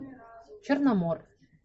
черномор